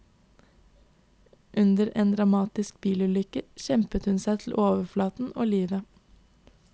Under en dramatisk bilulykke kjempet hun seg til overflaten og livet.